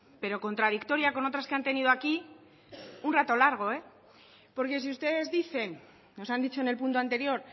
pero contradictoria con otras que han tenido aquí un raro largo porque si ustedes dicen nos han dicho en el punto anterior